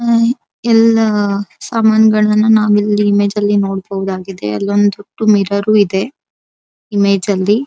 ಎಲ್ಲಾ ಸಮಾನಗಳನ್ನಾ ನಾವಿಲ್ಲಿ ಇಮೇಜ್ ಅಲ್ಲಿ ನೋಡಬಹುದಾಗಿದೆ ಅಲ್ಲಿ ಒಂದ್ ಹೊತ್ತು ಮಿರರು ಇದೆ ಇಮೇಜ್ ಅಲ್ಲಿ.